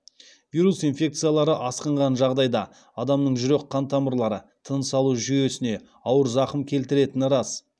вирус инфекциялары асқынған жағдайда адамның жүрек қантамырлары тыныс алу жүйесіне ауыр зақым келтіретіні рас